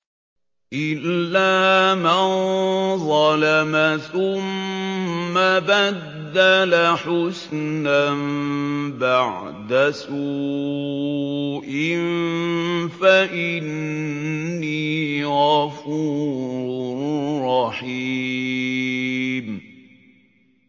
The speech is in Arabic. إِلَّا مَن ظَلَمَ ثُمَّ بَدَّلَ حُسْنًا بَعْدَ سُوءٍ فَإِنِّي غَفُورٌ رَّحِيمٌ